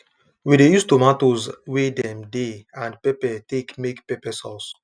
we de use tomatoes wey dem dey and pepper take make pepper sauce